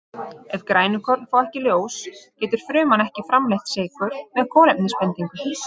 Ef grænukorn fá ekki ljós getur fruman ekki framleitt sykur með kolefnisbindingu.